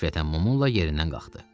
Qəfəltən Mamolla yerindən qalxdı.